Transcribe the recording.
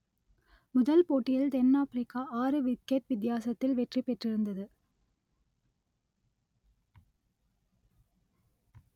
முதல் போட்டியில் தென் ஆப்பிரிக்கா ஆறு விக்கெட் வித்தியாசத்தில் வெற்றி பெற்றிருந்தது